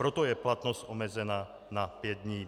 Proto je platnost omezena na pět dní.